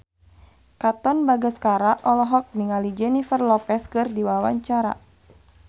Katon Bagaskara olohok ningali Jennifer Lopez keur diwawancara